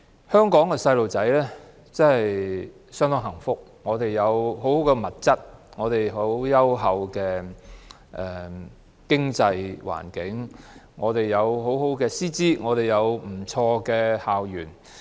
香港的小朋友相當幸福，他們有豐富的物質、優厚的經濟環境、良好的師資及不俗的校園。